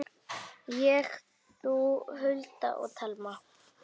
Ég, þú, Hulda og Telma.